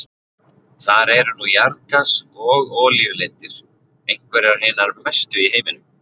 Þar eru nú jarðgas- og olíulindir, einhverjar hinar mestu í heiminum.